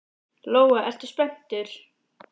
Lóa: Ertu spenntur?